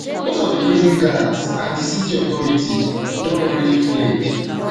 most of di prison guards and di city authorities don don already fled